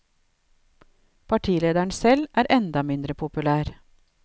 Partilederen selv er enda mindre populær.